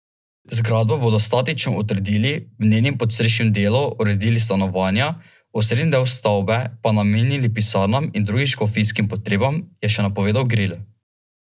Zgradbo bodo statično utrdili, v njenem podstrešnem delu uredili stanovanja, osrednji del stavbe pa namenili pisarnam in drugim škofijskim potrebam, je še napovedal Gril.